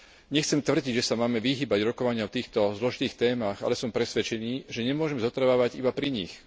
Nechcem tvrdiť, že sa máme vyhýbať rokovaniam v týchto zložitých témach, ale som presvedčený, že nemôžme zotrvávať iba pri nich.